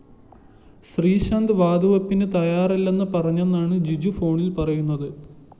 ശ്രീശാന്ത് വാതുവെപ്പിന് തയ്യാറല്ലെന്ന് പറഞ്ഞെന്നാണ് ജിജു ഫോണില്‍ പറയുന്നത്